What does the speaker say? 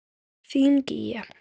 Þín Gígja.